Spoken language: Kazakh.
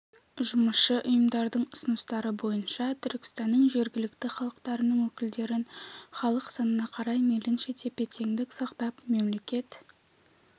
жұмысшы ұйымдарының ұсыныстары бойынша түркістанның жергілікті халықтарының өкілдерін халық санына қарай мейлінше тепе-теңдік сақтап мемлекет